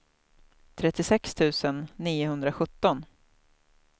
trettiosex tusen niohundrasjutton